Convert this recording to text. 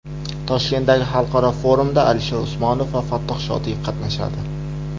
Toshkentdagi xalqaro forumda Alisher Usmonov va Fattoh Shodiyev qatnashadi.